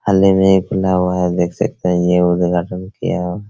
हाल ही में ये खुला हुआ है देख सकते है ये उद्घाटन किया हुआ --